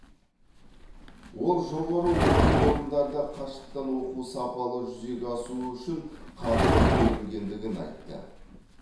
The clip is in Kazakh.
ол жоғары оқу орындарында қашықтан оқу сапалы жүзеге асуы үшін қаржы бөлінгендігін айтты